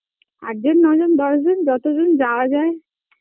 আট জন নয় জন দশ জন যত জন যাওয়া যায়